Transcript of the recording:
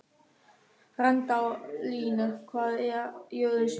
Randalín, hvað er jörðin stór?